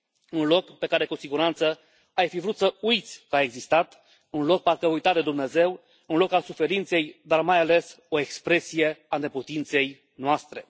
Un loc de care, cu siguranță, ai fi vrut să uiți că a existat, un loc parcă uitat de Dumnezeu, un loc al suferinței, dar, mai ales, o expresie a neputinței noastre.